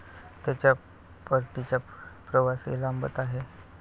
त्याचा परतीचा प्रवासही लांबत आहे.